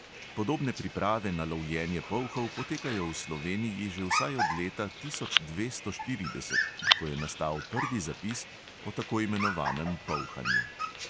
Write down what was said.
Podobne priprave na lovljenje polhov potekajo v sloveniji že vsaj od leta tisoč dvesto štirideset, ko je nastal prvi zapis o tako imenovanem polhanju.